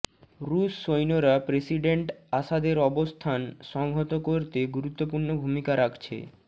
রুশ সৈন্যরা প্রেসিডেন্ট আসাদের অবস্থান সংহত করতে গুরুত্বপূর্ণ ভূমিকা রাখছে